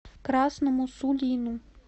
красному сулину